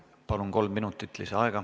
Palun, kolm minutit lisaaega!